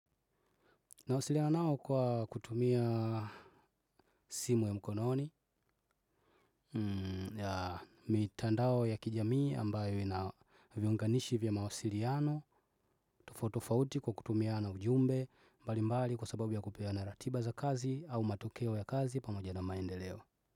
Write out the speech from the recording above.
Nawasiliana nao kwa kutumia simu ya mkononi, mitandao ya kijamii ambayo ina viunganishi vya mawasiliano, tofauti tofauti kwa kutumiana ujumbe, mbali mbali kwa sababu ya kupeana ratiba za kazi au matokeo ya kazi pamoja na maendeleo.